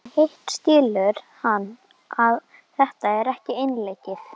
En hitt skilur hann að þetta er ekki einleikið.